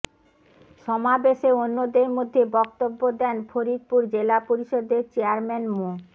সমাবেশে অন্যদের মধ্যে বক্তব্য দেন ফরিদপুর জেলা পরিষদের চেয়ারম্যান মো